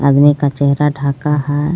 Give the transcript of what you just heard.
आदमी का चेहरा ढाका है.